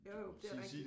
Jo jo det rigtigt